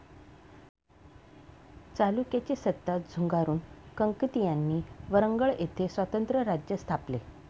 चालुक्यांची सत्ता झुगारून कंकतीयांनी वरंगळ येथे स्वतंत्र राज्य स्थापले.